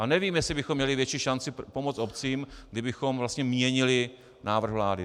A nevím, jestli bychom měli větší šanci pomoci obcím, kdybychom vlastně měnili návrh vlády.